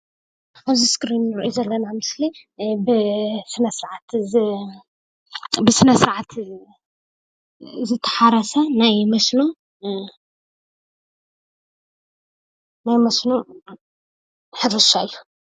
ኣብዚ እስክሪን ንሪኦ ዘለና ምስሊ ብስነ ስርዓት ዝተሓረሰ ናይ መስኖ ሕርሻ እዩ።